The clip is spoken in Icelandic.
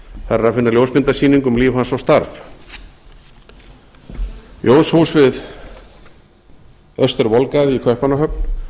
þar er að finna ljósmyndasýningu um líf hans og starf jónshús við austurvolgade í kaupmannahöfn